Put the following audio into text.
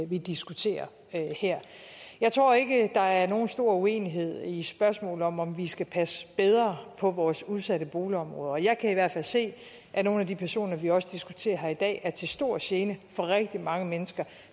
vi diskuterer her jeg tror ikke der er nogen stor uenighed i spørgsmålet om at vi skal passe bedre på vores udsatte boligområder og jeg kan i hvert fald se at nogle af de personer vi også diskuterer her i dag er til stor gene for rigtig mange mennesker